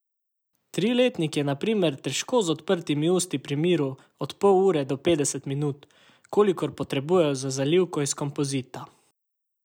Triletnik je na primer težko z odprtimi usti pri miru od pol ure do petdeset minut, kolikor potrebujejo za zalivko iz kompozita.